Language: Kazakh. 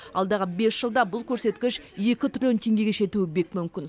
алдағы бес жылда бұл көрсеткіш екі триллион теңгеге жетуі бек мүмкін